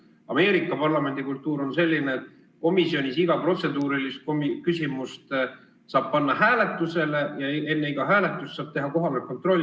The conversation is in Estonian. Ameerika parlamendikultuur on selline, et komisjonis saab iga protseduurilise küsimuse panna hääletusele ja enne iga hääletust saab teha kohaloleku kontrolli.